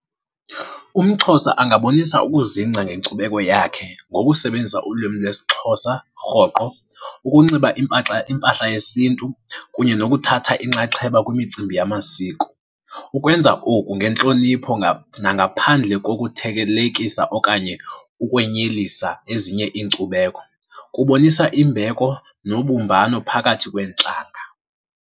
UmXhosa angabonisa ukuzingca ngenkcubeko yakhe ngokusebenzisa ulwimi lwesiXhosa rhoqo, ukunxiba impahla yesintu kunye nokuthatha inxaxheba kwimicimbi yamasiko. Ukwenza oku ngentlonipho nangaphandle kokuthelekisa okanye ukwenyelisa ezinye iinkcubeko kubonisa imbeko nobumbano phakathi kweentlanga.